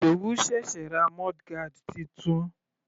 Ìdòwú sẹ̀sẹ̀ ra mudguard titun.